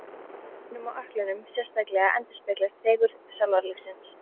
Í kálfunum og ökklunum sérstaklega endurspeglast fegurð sálarlífsins.